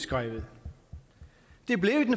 glad